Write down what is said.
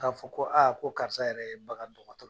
Ka fɔ ko, ko karisa yɛrɛ ye bagandɔgɔtɔrɔ ye.